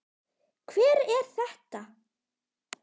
Hver er þetta?